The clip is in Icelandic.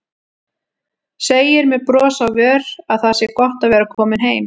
Segir með brosi á vör að það sé gott að vera komin heim.